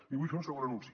i vull fer un segon anunci